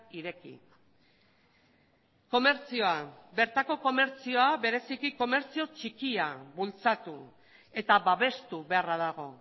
ireki komertzioa bertako komertzioa bereziki komertzio txikia bultzatu eta babestu beharra dago